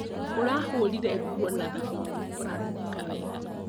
Ũrahũrire nguo na thabuni ũranunga wega